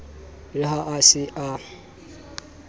re ha a se a